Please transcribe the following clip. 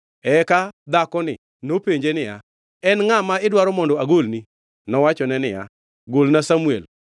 Eka dhakoni nopenje niya, “En ngʼa ma idwaro mondo agolni?” Nowachne niya, “Golna Samuel.”